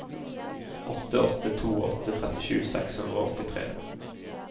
åtte åtte to åtte trettisju seks hundre og åttitre